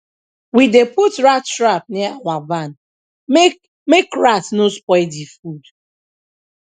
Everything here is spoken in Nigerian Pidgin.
we dey put rat trap near our barn make make rat no spoil the food